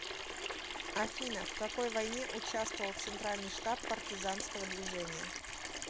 афина в какой войне участвовал центральный штаб партизанского движения